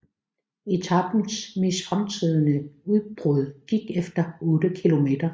Etapens mest fremtrædende udbrud gik efter 8 kilometer